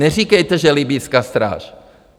Neříkejte, že libyjská stráž.